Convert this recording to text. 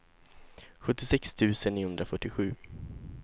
sjuttiosex tusen niohundrafyrtiosju